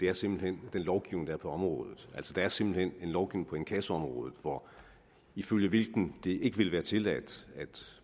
er simpelt hen den lovgivning der er på området altså der er simpelt hen en lovgivning på inkassoområdet ifølge hvilken det ikke vil være tilladt